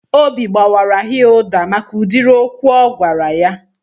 Obi gbaara Hilda maka udiri okwu o gwara ya